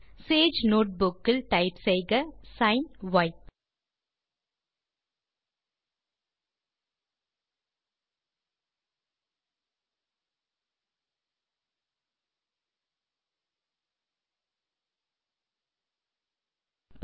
Sage notebook இல் type செய்க sign ய்